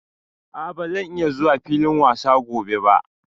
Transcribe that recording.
A', ba zan iya zuwa filin wasa gobe ba.